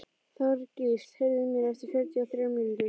Þorgísl, heyrðu í mér eftir fjörutíu og þrjár mínútur.